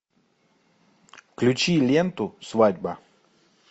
включи ленту свадьба